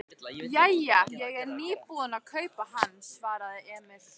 Bambi, hvernig er dagskráin í dag?